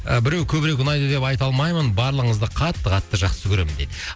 ы біреу көбірек ұнайды деп айта алмаймын барлығыңызды қатты қатты жақсы көремін дейді